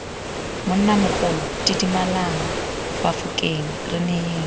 monnamogolo didimalang bafokeng re neyeng